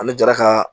An bɛ jara ka